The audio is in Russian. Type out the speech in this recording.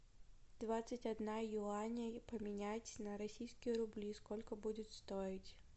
двадцать одна юаней поменять на российские рубли сколько будет стоить